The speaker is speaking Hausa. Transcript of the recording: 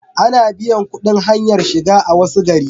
Ana biyan kudin hanyar shiga a wasu gari